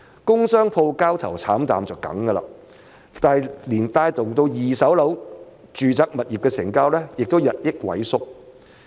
工商鋪交投慘淡是必然的，但是二手住宅物業的成交也日益萎縮。